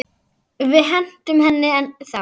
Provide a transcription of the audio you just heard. En við hentum henni þá.